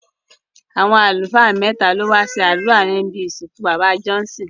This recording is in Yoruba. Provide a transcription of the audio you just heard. Àwọn àlùfáà mẹ́ta ló wá ṣe àdúrà níbi ìsìnkú bàbá Johnson